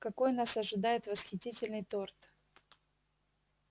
какой нас ожидает восхитительный торт